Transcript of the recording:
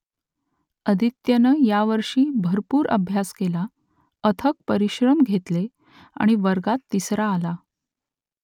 आदित्यनं यावर्षी भरपूर अभ्यास केला , अथक परिश्रम घेतले आणि वर्गात तिसरा आला